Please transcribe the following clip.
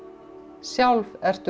sjálf ertu